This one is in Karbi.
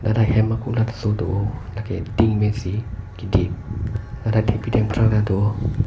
ladak hem kulat so do oh la ke tin pen si kidip ladak thengpi thengprang ta do oh.